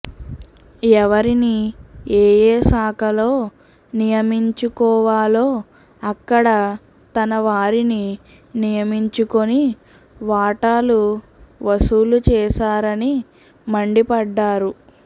ఎవరిని ఏఏ శాఖలో నియమించుకోవాలో అక్కడ తన వారిని నియమించుకొని వాటాలు వసూలు చేశారని మండిపడ్డారు